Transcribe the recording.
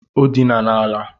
ọ dina n'ala